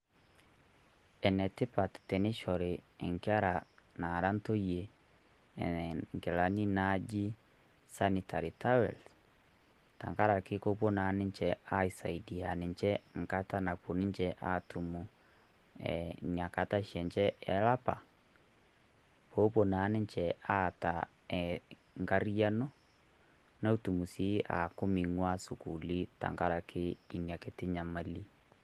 Enetipat teneshori enkera naara ntoiye eeh nkilani naji sanitary towels teng'araki kopoo naa ninchee aisaidia ninchee nkaata napoo ninchee atuum eeh nyakata sii enchee e lapaa. Pea epoo naa ninchee aata nkariyano netuum sii aaku meiwua suukulii teng'arake enia nkitii nyamali.